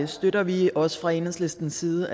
støtter vi også fra enhedslistens side